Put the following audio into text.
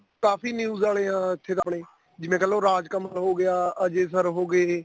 ਕਾਫੀ news ਵਾਲੇ ਇੱਥੇ ਤਾਂ ਆਪਣੇ ਜਿਵੇਂ ਕਹਿ ਲੋ ਰਾਜ ਕਮਲ ਹੋ ਗਿਆ ajay sir ਹੋ ਗਏ